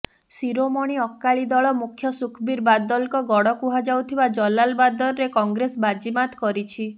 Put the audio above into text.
ଶିରୋମଣି ଅକାଳୀ ଦଳ ମୁଖ୍ୟ ସୁଖବୀର ବାଦଲଙ୍କ ଗଡ଼ କୁହାଯାଉଥିବା ଜଲାଲବାଦରରେ କଂଗ୍ରେସ ବାଜିମାତ୍ କରିଛି